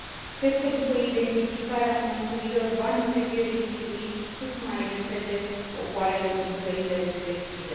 Cred că, după identificarea conturilor, banii trebuie restituiți cât mai repede popoarelor din țările respective.